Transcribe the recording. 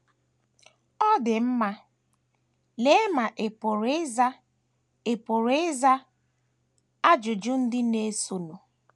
Ọ dị mma, lee ma ị pụrụ ịza ị pụrụ ịza ajụjụ ndị na - esonụ: